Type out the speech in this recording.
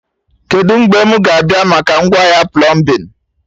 Kedụ mgbe mụ ga-abịa maka ngwaahịa plọmbin?